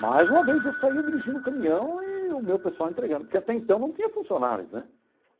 Mais uma vez eu saía dirigindo o caminhão e o meu pessoal entregando, porque até então não tinha funcionários né.